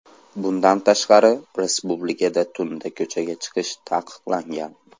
Bundan tashqari, respublikada tunda ko‘chaga chiqish taqiqlangan .